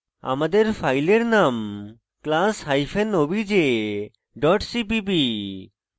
আমাদের ফাইলের নাম class hyphen obj dot cpp